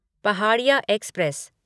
Pahadiya express